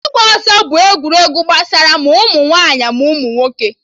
Ịgba ọsọ bụ egwuregwu gbasara ma ụmụ nwaanyị ma ụmụ nwoke